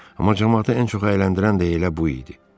Amma camaatı ən çox əyləndirən də elə bu idi.